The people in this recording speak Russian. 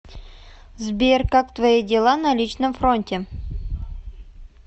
сбер как твои дела на личном фронте